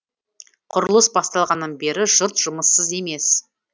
құрылыс басталғаннан бері жұрт жұмыссыз емес